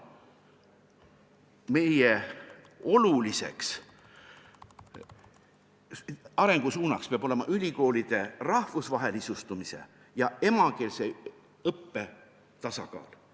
Meie oluliseks arengusuunaks peab olema ülikoolide rahvusvahelistumise ja emakeelse õppe tasakaal.